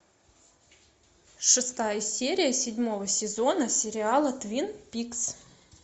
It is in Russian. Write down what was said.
шестая серия седьмого сезона сериала твин пикс